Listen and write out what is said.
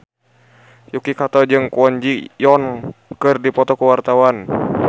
Yuki Kato jeung Kwon Ji Yong keur dipoto ku wartawan